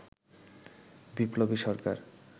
বিপ্লবী সরকার